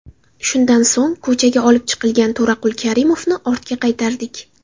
Shundan so‘ng, ko‘chaga olib chiqilgan To‘raqul Karimovni ortga qaytardik.